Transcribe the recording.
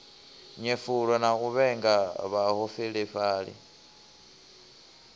nyefula na u vhenga vhaholefhali